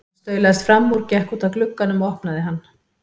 Hann staulaðist fram úr, gekk út að glugganum og opnaði hann.